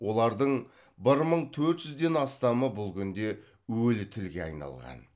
олардың бір мың төрт жүзден астамы бұл күнде өлі тілге айналған